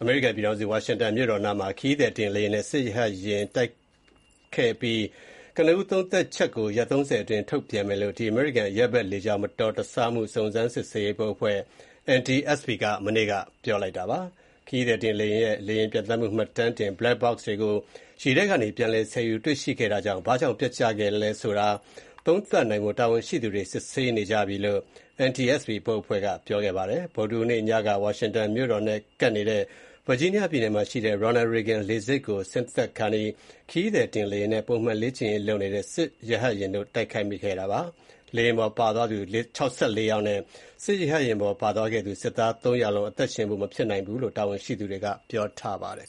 အမေရိကန်ပြည်ထောင်စု ဝါရှင်တန်မြို့တော်နားမှာ ခရီးသည်တင်လေယာဉ်နဲ့ စစ်ရဟတ်ယာဉ် တိုက်မိမှုနဲ့ပတ်သက်တဲ့ ကနဦးသုံးသပ်ချက်ကို ရက် ၃၀ အတွင်း ထုတ်ပြန်မယ်လို့ အမေရိကန် အရပ်ဘက်လေကြောင်းမတော်တဆမှုတွေနဲ့ပတ်သက်တဲ့ စုံစမ်းစစ်ဆေးရေးဘုတ်အဖွဲ့ NTSB က ပြောကြားခဲ့ပါတယ်။ ခရီးသည်တင်လေယာဉ်ရဲ့ လေယာဉ်ပျံသန်းမှု မှတ်တမ်းတင် Black box တွေကို ရေထဲကနေ ပြန်လည်ဆယ်ယူ တွေ့ရှိခဲ့တာကြောင့် ဘာကြောင့် ပျက်ကျခဲ့သလဲဆိုတာ သုံးသပ်နိုင်ဖို့ တာဝန်ရှိသူတွေ စစ်ဆေးနေကြလို့ NTSB ဘုတ်အဖွဲ့က ပြောကြားခဲ့ပါတယ်။ ဗုဒ္ဓဟူးနေ့ ညက ဝါရှင်တန်မြို့တော်နဲ့ကပ်နေတဲ့ Virginia ပြည်နယ်မှာရှိတဲ့ Ronald Reagan လေဆိပ် ကို ဆင်းသက်ခါနီး ခရီးသည်တင်လေယာဉ်နဲ့ ပုံမှန်လေ့ကျင့်ရေးလုပ်နေတဲ့ စစ်ရဟတ်ယာဉ်တို့ တိုက်မိ ခဲ့တာပါ။ လေယာဉ်ပေါ်ပါသွားသူ ၆၄ ယောက်နဲ့ ရဟတ်ယာဉ်ပေါ်ပါသွားတဲ့ စစ်သား ၃ ယောက်လုံး အသက်ရှင်ဖို့ မဖြစ်နိုင်ဘူးလို့ တာဝန်ရှိသူတွေက ပြောကြားထားပါတယ်